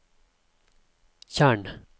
tjern